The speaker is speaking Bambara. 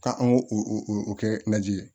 Ka an go kɛ lajɛ